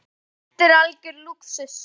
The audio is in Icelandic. Þetta er algjör lúxus.